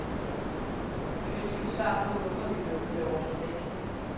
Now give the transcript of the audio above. Nu ønsker vi svar på, hvorfor vi blev beordret væk.